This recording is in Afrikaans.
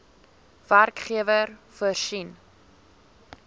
werkgewer voorsien